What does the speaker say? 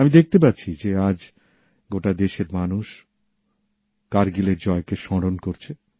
আমি দেখতে পাচ্ছি যে আজ গোটা দেশের মানুষ কারগিলের জয়কে স্মরণ করছে